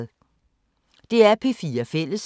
DR P4 Fælles